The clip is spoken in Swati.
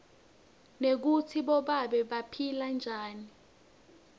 nekutsi bobabe baphila njani